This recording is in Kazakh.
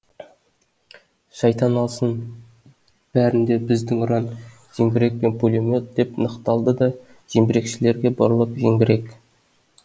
шайтан алсын бәрін де біздің ұран ззеңбірек пен пулемет деп нықталды да зеңбірекшілерге бұрылып зеңбірек